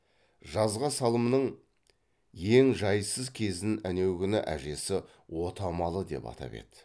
жазға салымның ең жайсыз кезін әнеугүні әжесі отамалы деп атап еді